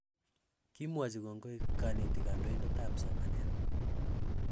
Kimwochi kongoi kanetik kandoindetap somanet